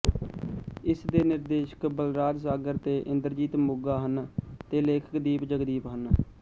ਇਸਦੇ ਨਿਰਦੇਸ਼ਕ ਬਲਰਾਜ ਸਾਗਰ ਤੇ ਇੰਦਰਜੀਤ ਮੋਗਾ ਹਨ ਤੇ ਲੇਖਕ ਦੀਪ ਜਗਦੀਪ ਹਨ